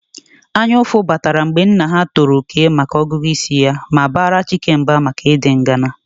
Anyaụfụ batara mgbe nna ha tọrọ Okey maka ọgụgụ isi ya ma bara Chike mba maka ịdị ngana